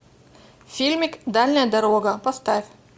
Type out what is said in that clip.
фильмик дальняя дорога поставь